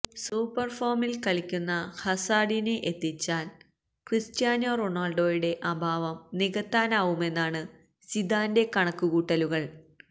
super ഫോമില് കളിക്കുന്ന ഹസാര്ഡിനെ എത്തിച്ചാല് ക്രിസ്റ്റ്യാനോ റൊണാള്ഡോയുടെ അഭാവം നികത്താനാവുമെന്നാണ് സിദാന്റെ കണക്ക് കൂട്ടലുകള്